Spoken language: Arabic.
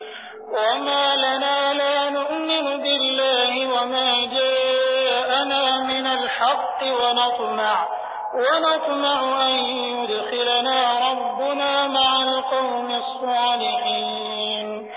وَمَا لَنَا لَا نُؤْمِنُ بِاللَّهِ وَمَا جَاءَنَا مِنَ الْحَقِّ وَنَطْمَعُ أَن يُدْخِلَنَا رَبُّنَا مَعَ الْقَوْمِ الصَّالِحِينَ